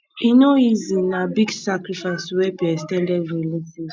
e no easy na big sacrifice to help your ex ten ded relatives